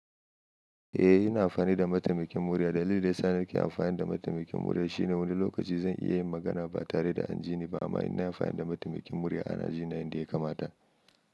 Eh, ina amfani da mataimakin murya. C Dalilin da ya sa nake amfani da mataimakin murya shine wani lokaci zan iya yin magana ba tare da an jini ba, amma ina amfani da mataimakin murya ana jina yanda ya kamata.